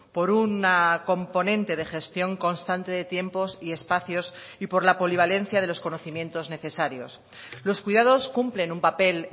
por una componente de gestión constante de tiempos y espacios y por la polivalencia de los conocimientos necesarios los cuidados cumplen un papel